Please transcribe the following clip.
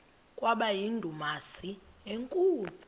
kwaba yindumasi enkulu